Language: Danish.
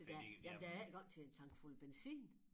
For der jamen der er ikke engang til en tankfuld benzin